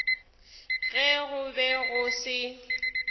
ge go be go se